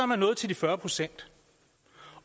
man nået til de fyrre procent